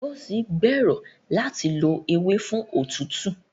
Ngozi gbèrò láti lo ewe fún òtútù.